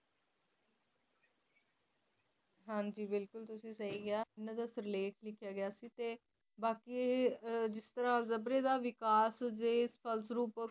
ਹਨ ਜੀ ਬਿਲਕੁਲ ਤੁਸੀਂ ਸੀ ਕ੍ਯਾ ਏਨਾ ਦਾ ਸਿਰਲੇਖ ਲਿਖਿਆ ਗਿਆ ਸੀ ਬਾਕੀ ਜਿਸ ਤਾਰਾ ਅਲ੍ਜਾਬ੍ਰੀ ਦਾ ਵਿਕਾਸ ਦੇ ਫਲਸਰੂਪ